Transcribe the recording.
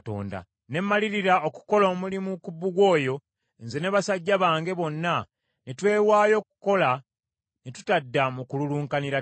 Ne mmalirira okukola omulimu ku bbugwe oyo, nze n’abasajja bange bonna ne twewaayo okukola ne tutadda mu kululunkanira ttaka.